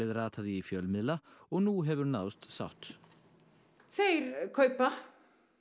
rataði í fjölmiðla og nú hefur náðst sátt þeir kaupa